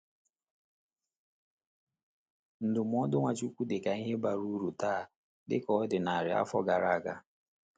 Ndụmọdụ Nwachukwu dị ka ihe bara uru taa dịka ọ dị narị afọ gara aga.